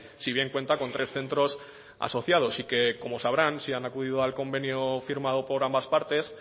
si bien cuenta con tres centros asociados y que como sabrán si han acudido al convenio firmado por ambas partes